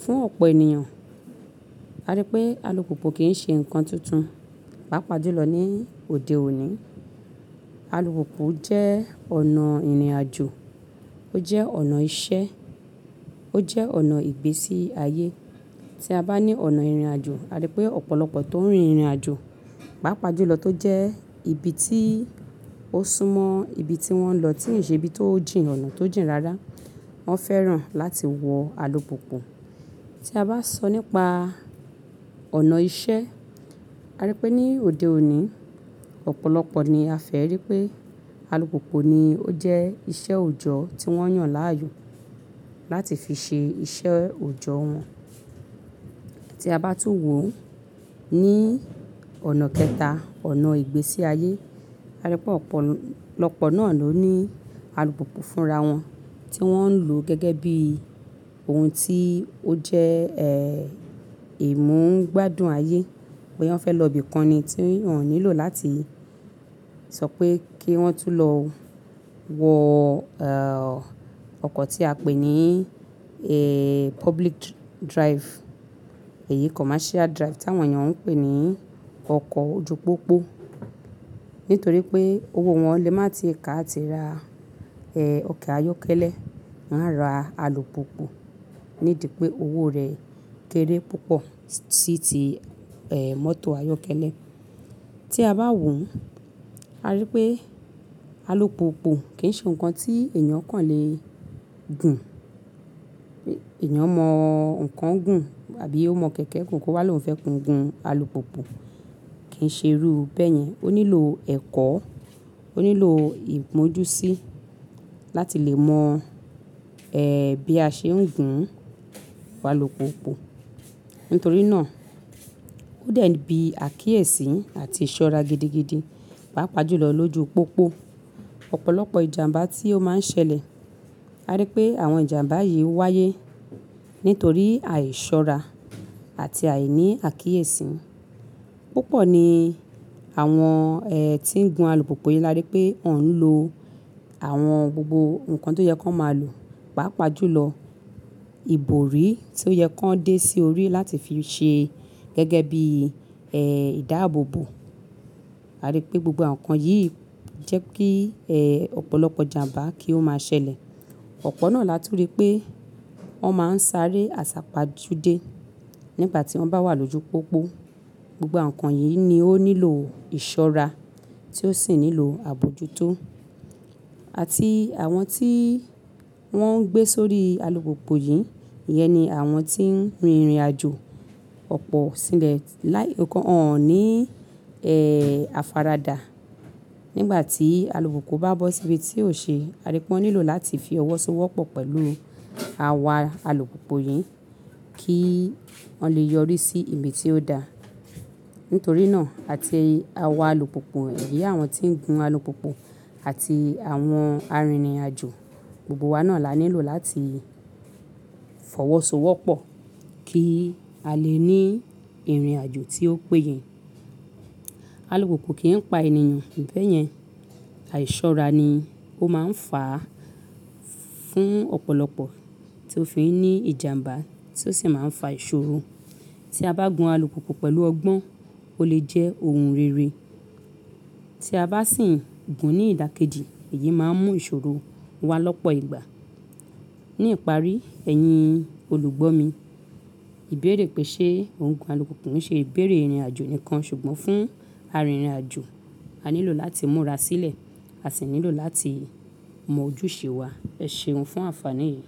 Fún ọ̀pọ̀ ènìyàn, a rí pé alùpùpù kì í ṣe nǹkan tuntun, pàápàá jùlọ ní òde òní. Alùpùpù jẹ́ ọ̀nà ìrìnàjò, ó jẹ́ ọ̀nà iṣẹ́, ó jẹ́ ọ̀nà ìgbésí ayé. Tí a bá ní ọ̀nà ìrìnàjò, a rí pé ọ̀pọ̀lọpọ̀ tó ń rin ìrìnàjò, pàápàá jùlọ tó jẹ́ ibi tí ó súmọ́ ibi tí wọ́n ń lọ tí ǹ ṣe ibi tó jìn, ọ̀nà tó jìn rara, wọ́n fẹ́ràn láti wọ alùpùpù. Tí a bá sọ nípa ọ̀nà iṣẹ́, a rí pé ní òde òní, ọ̀pọ̀lọpọ̀ ni a fẹ́ rí pé alùpùpù ni ó jẹ́ iṣẹ́ òjọ́ tí wọ́n yàn láàyò láti fi ṣe iṣẹ́ òòjọ́ wọn. Tí a bá tún wò ó ní ọ̀nà kẹta, ọ̀nà ìgbésí ayé, a rí pé ọ̀pọ̀lọpọ̀ náà ló ní alùpùpù fúnra wọn tí wọ́n ń lò gẹ́gẹ́ bí ohun tí ó jẹ́, ẹ́, ìmúgbádùn ayé. Bí wọ́n fẹ́ lọ ibi kan ni tí wọ́n ò nílò láti sọ pé kí wọ́n tún lọ wọ, ẹ́hn, ọkọ̀ tí a pè ní, ẹ́h, public drive èyí commercial drive táwọn ènìyàn ń pè ní ọkọ̀ ojú-pópó. Nítorí pé owó wọn lè má tii kà ati ra, ẹ́h, ọkọ̀ ayọ́kẹ́lẹ́, wọ́n á ra alùpùpù nídi pé owó rẹ̀ kéré púpọ̀ sí ti, ẹ́, mọ́tò ayọ́kẹ́lẹ́. Tí a bá wò ó, a rí pé alùpùpù kì í ṣe nǹkan tí ènìyàn kàn lè gun. Ẹ̀, ènìyàn mọ̀ ǹkan gùn àbí ó mọ̀ kẹ̀kẹ́ gùn kó má lo ń fẹ́ gun alùpùpù kì í ṣe irú bẹ́ẹ̀ yẹn. Ó nílò ẹ̀kọ́, ó nílò ìgbójú sí láti lè mọ̀, ẹ́, bí a ṣe ń gun alùpùpù. Nítorí náà, ó dẹ̀ bí àkíyèsí àti ìṣọ́ra gidigidi, pàápàá jùlọ lójú pópó. Ọ̀pọ̀lọpọ̀ ìjàmbá tí ó má ń ṣẹlẹ̀, a rí pé àwọn ìjàmbá yìí wáyé nítorí àìṣọ́ra àti àìní àkíyèsí. Púpọ̀ ni àwọn, ẹ́, tí ń gun alùpùpù yìí a rí pé wọ́n ń lo àwọn gbogbo ǹkan tí ó yẹ kó máa lò, pàápàá jùlọ ìbòrí tí ó yẹ kó dé sí orí láti fi ṣe gẹ́gẹ́ bí, ẹ́, ìdáàboòbò. A rí pé gbogbo àwọn ǹkan yìí jẹ́ kí, ẹ́, ọ̀pọ̀lọpọ̀ ìjàmbá kí ó máa ṣẹlẹ̀. Ọ̀pọ̀ náà láti òde pé wọ́n má ń sáré àsápajudé nígbà tí wọ́n bá wà lójú pópó. Gbogbo àwọn ǹkan yìí ni ó nílò ìṣọ́ra tí ó sì nílò àbojútó. Àti àwọn tí wọ́n ń gbé sórí alùpùpù yìí, ìyẹn ni àwọn tí ń rin ìrìnàjò ọ̀pọ̀ sílẹ̀ láì-- nǹkan, wọ́n ò ní, ẹ́hn, afáradà nígbà tí alùpùpù bá bọ́ sí ibi tí ò ṣe. A rí pé wọ́n nílò láti fi ọwọ́ sówọ́pọ̀ pẹ̀lú àwa alùpùpù yìí kí wọ́n lè yọrí sí ibi tí ó da. Nítorí náà, àti àwa alùpùpù, èyí àwọn tí ń gun alùpùpù àti àwọn arìnrìnàjò gbogbo wa náà la nílò láti f'ọwọ́ sówọ́pọ̀ kí á lè ní ìrìnàjò tí ó péye. Alùpùpù kì í pa ènìyàn, bẹ́ẹ̀ yẹn àìṣọ́ra ni ó má ń fàá fún ọ̀pọ̀lọpọ̀ tí ó fi ń ní ìjàmbá tí ó sì má ń fa ìṣòro. Tí a bá gun alùpùpù pẹ̀lú ọgbọ́n, ó lè jẹ́ ohun rere. Tí a bá sì ń gun ní ìdàkejì, èyí má ń mú ìṣòro wá lọ́pọ̀ ìgbà. Ní ìparí, ẹ̀yin olùgbọ́ mi, ìbéèrè pé ṣe ohun gun alùpùpù ń ṣe ìbéèrè ìrìnàjò nìkan, ṣùgbọ́n fún arìnrìnàjò, a nílò láti múra sílẹ̀, a sì nílò láti mọ ojúṣe wa. Ẹ ṣe ohun fún àǹfàní yìí.